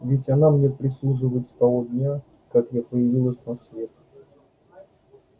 ведь она мне прислуживает с того дня как я появилась на свет